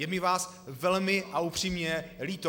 Je mi vás velmi a upřímně líto.